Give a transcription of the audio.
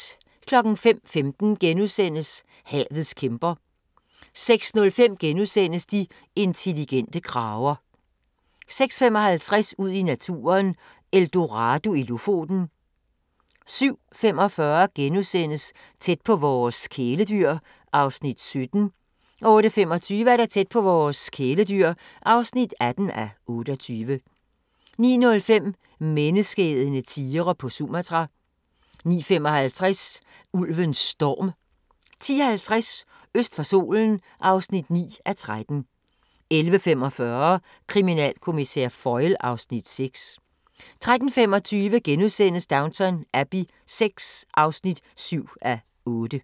05:15: Havets kæmper * 06:05: De intelligente krager * 06:55: Ud i naturen: Eldorado i Lofoten 07:45: Tæt på vores kæledyr (17:28)* 08:25: Tæt på vores kæledyr (18:28) 09:05: Menneskeædende tigre på Sumatra 09:55: Ulven Storm 10:50: Øst for solen (9:13) 11:45: Kriminalkommissær Foyle (Afs. 6) 13:25: Downton Abbey VI (7:8)*